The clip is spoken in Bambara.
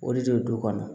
O de bɛ du kɔnɔ